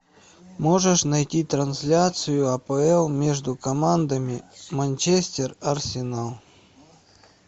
можешь найти трансляцию апл между командами манчестер арсенал